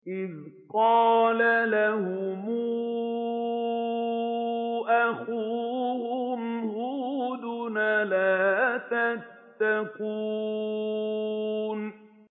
إِذْ قَالَ لَهُمْ أَخُوهُمْ هُودٌ أَلَا تَتَّقُونَ